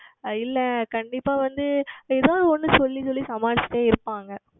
ஆஹ் இல்லை கண்டிப்பாக வந்து ஏதவாது ஓன்று சொல்லி சொல்லி சமாளித்து கொண்டே இருப்பார்கள்